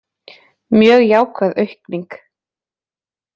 Mjög jákvæð aukning